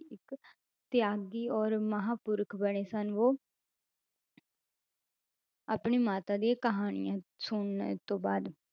ਤਿਆਗੀ ਔਰ ਮਹਾਂਪੁਰਖ ਬਣੇ ਸਨ ਉਹ ਆਪਣੀ ਮਾਤਾ ਦੀ ਕਹਾਣੀਆਂ ਸੁਣਨ ਤੋਂ ਬਾਅਦ